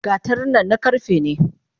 Gatarin nan na karfe ne?